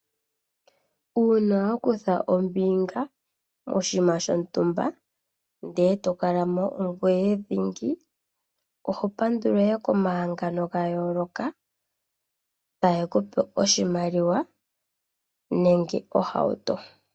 Uuna wa kutha ombinga moshinima shontumba ndele e to kala mo ongoye dhingi, ohopandulwa ihe komahangano ga yooloka, tage ku pe oshimaliwa nenge ohauto.